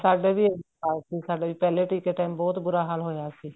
ਸਾਡੇ ਵੀ ਇਹੀ ਹਾਲ ਸੀ ਪਹਿਲੇ ਟੀਕੇ ਤੇ ਟੇਮ ਬਹੁਤ ਬੂਰਾ ਹਾਲ ਹੋਇਆ ਸੀ